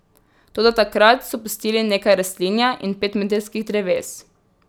Toda takrat so pustili nekaj rastlinja in petmetrskih dreves.